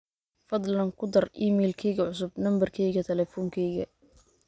fadhlan ku dar iimaylkeyga cusub nambarkeyga telefonkeyga